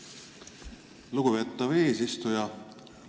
Aitäh, lugupeetav eesistuja!